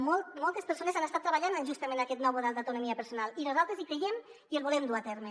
moltes persones han estat treballant justament en aquest nou model d’autonomia personal i nosaltres hi creiem i el volem dur a terme